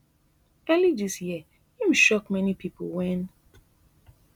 early dis year im shock many pipo wen